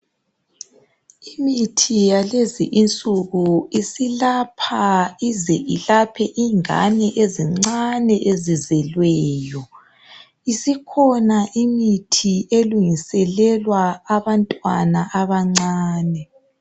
imithi yalezi insuku isilapha ize ilapha ingane ezincane ezizelweyo isikhona imithi elungiselelwa abantwana abancane